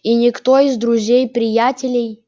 и никто из друзей-приятелей